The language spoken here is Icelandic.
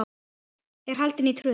er haldin í Tröð.